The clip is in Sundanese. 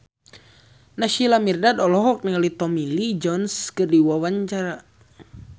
Naysila Mirdad olohok ningali Tommy Lee Jones keur diwawancara